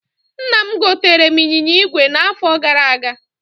Nna m gotere m ịnyịnya ígwè na afo gara aga